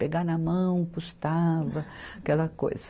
Pegar na mão custava, aquela coisa.